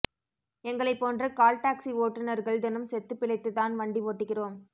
எங்களைப் போன்ற call taxi ஓட்டுநர்கள் தினம் செத்துப் பிழைத்து தான் வண்டி ஓட்டுகிறோம்